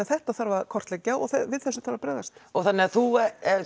þetta þarf að kortleggja og við þessu þarf að bregðast þannig að þú ert